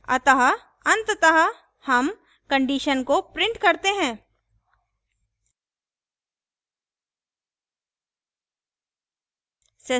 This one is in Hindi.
अतः अंततः हम condition को print करते हैं